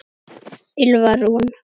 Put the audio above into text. Ylfa Rún.